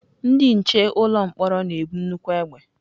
Ndị nche ụlọ mkpọrọ na-ebu nnukwu egbe.